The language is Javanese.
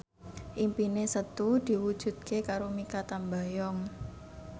impine Setu diwujudke karo Mikha Tambayong